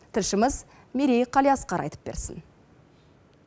тілшіміз мерей қалиасқар айтып берсін